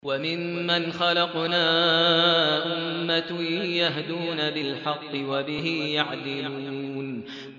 وَمِمَّنْ خَلَقْنَا أُمَّةٌ يَهْدُونَ بِالْحَقِّ وَبِهِ يَعْدِلُونَ